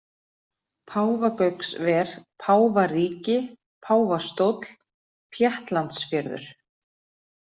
Páfagauksver, Páfaríki, Páfastóll, Péttlandsfjörður